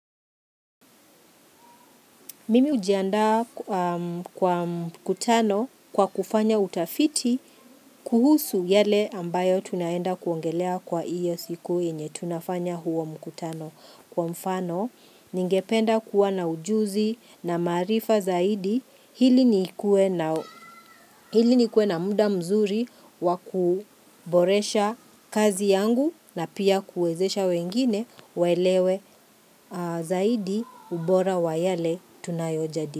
Mimi hujiandaa kwa mkutano kwa kufanya utafiti kuhusu yale ambayo tunaenda kuongelea kwa iyo siku yenye tunafanya huo mkutano kwa mfano. Ningependa kuwa na ujuzi na maarifa zaidi ili nikue na ili nikue na muda mzuri wakuboresha kazi yangu na pia kuezesha wengine waelewe zaidi ubora wa yale tunayojadili.